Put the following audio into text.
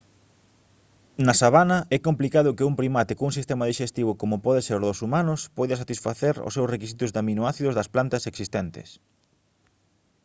na sabana é complicado que un primate cun sistema dixestivo como pode ser o dos humanos poida satisfacer os seus requisitos de aminoácidos das plantas existentes